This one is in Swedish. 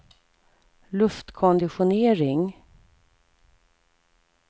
luftkonditionering